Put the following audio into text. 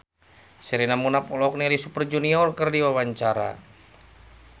Sherina Munaf olohok ningali Super Junior keur diwawancara